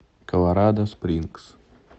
колорадо спрингс